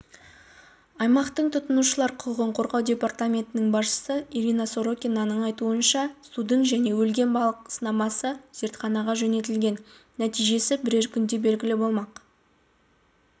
аймақтық тұтынушылар құқығын қорғау департаментінің басшысы ирина сорокинаның айтуынша судың және өлген балық сынамасы зертханаға жөнелтілген нәтижесі бірер күнде белгілі болмақ